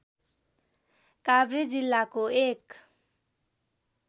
काभ्रे जिल्लाको एक